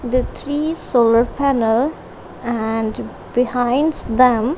the three solar panel and behinds them.